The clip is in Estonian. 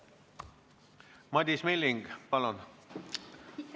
Madis Milling, palun!